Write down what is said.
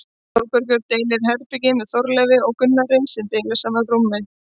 Þórbergur deilir herbergi með Þorleifi og Gunnari sem deila sama rúmi.